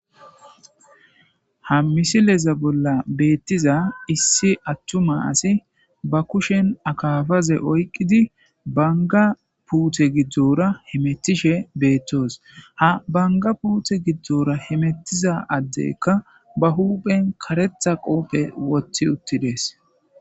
ha misileza bolla beettiza issi attuma asi ba kushen akafaze oyqqidi banga puute giddora hemettishe beettoos ha banga puute giddora hemettiza addekka ba huphen karetha qoophe wothi uttidees